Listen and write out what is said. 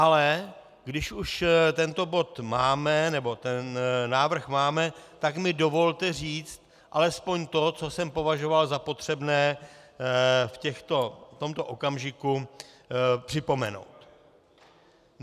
Ale když už tento bod máme, nebo ten návrh máme, tak mi dovolte říct alespoň to, co jsem považoval za potřebné v tomto okamžiku připomenout.